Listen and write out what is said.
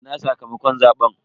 Ina sakamakon zaben?